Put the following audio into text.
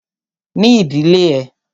Ní ìdílé ẹ!